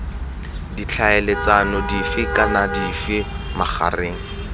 ditlhaeletsano dife kana dife magareng